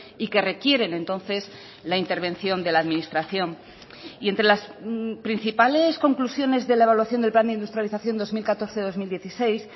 y que requieren entonces la intervención de la administración y entre las principales conclusiones de la evaluación del plan de industrialización dos mil catorce dos mil dieciséis